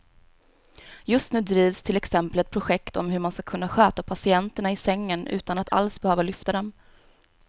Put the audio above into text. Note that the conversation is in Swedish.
Just nu drivs till exempel ett projekt om hur man ska kunna sköta patienterna i sängen utan att alls behöva lyfta dem.